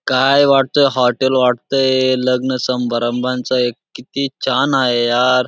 काय वाटतंय हॉटेल वाटतंय लग्न समारंभाचा एक किती छान आहे यार.